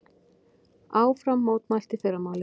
Áfram mótmælt í fyrramálið